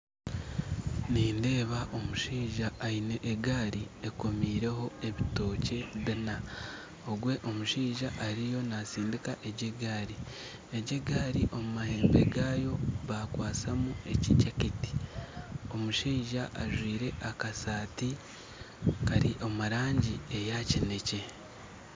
Nindeeba omushaija aine egaari ekomireho ebitookye bina ogwe omushaija ariyo natsindiika egyo egaari , egyo egaari omu mahembe gaayo bakwatsamu ekijaketi omushaija ajwire akasaati kari omurangi eya kineekye